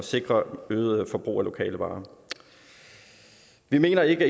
sikre et øget forbrug af lokale varer vi mener ikke at